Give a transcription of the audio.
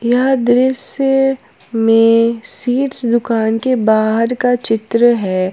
यह दृश्य में सीड्स दुकान के बाहर का चित्र है।